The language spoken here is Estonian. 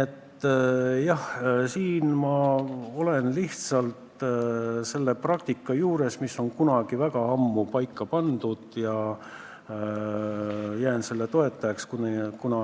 Aga jah, praegu on lihtsalt selline praktika, mis on kunagi väga ammu paika pandud, ja ma toetan seda, kuna